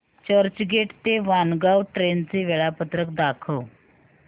चर्चगेट ते वाणगांव ट्रेन चे वेळापत्रक दाखव